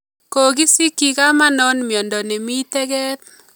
Kokisikiy kamanon miondo nemi teget